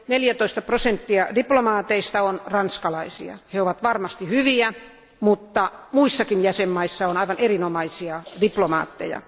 14 prosenttia diplomaateista on ranskalaisia. He ovat varmasti hyviä, mutta muissakin jäsenvaltioissa on aivan erinomaisia diplomaatteja.